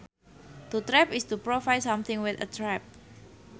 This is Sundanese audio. To trap is to provide something with a trap